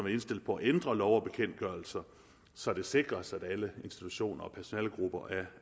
indstillet på at ændre lov og bekendtgørelser så det sikres at alle institutioner og personalegrupper